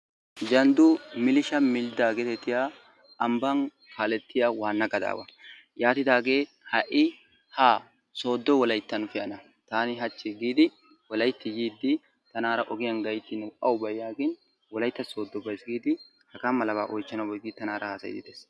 Jalddu milisha mildda geetettiya ambban kaalettiya waanna gadaawa. Yaatidaagee ha"i haa sooddo wolayttan pe'ana taani hachchi giidi Wolaytti tiiddi tanaara ogiyan gayttin awubay yaagin Wolaytta sooddo baysi giidi hagaa malaba oychchanawu baysi giidi tanaara haasayiiddi dees.